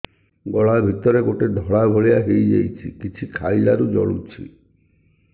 ଗଳା ଭିତରେ ଗୋଟେ ଧଳା ଭଳିଆ ହେଇ ଯାଇଛି କିଛି ଖାଇଲାରୁ ଜଳୁଛି